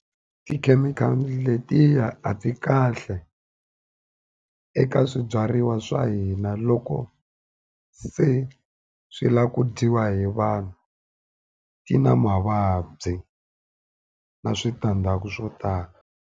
Tikhemikhali letiya a ti kahle eka swibyariwa swa hina loko se swi lavaku dyiwa hi vanhu ti na mavabyi na switandzhaku swo tala.